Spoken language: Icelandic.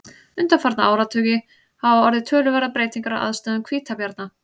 undanfarna áratugi hafa orðið töluverðar breytingar á aðstæðum hvítabjarna